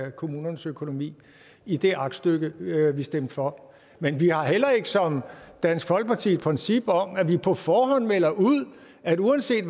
af kommunernes økonomi i det aktstykke vi vi stemte for men vi har heller ikke som dansk folkeparti et princip om at vi på forhånd melder ud at uanset